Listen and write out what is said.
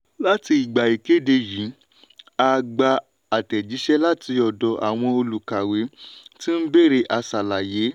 láti ìgbà ìkede yìí a gbà àtẹ̀jíṣẹ́ láti ọ̀dọ̀ àwọn olùkàwé tí ń bèrè aṣàlàyé.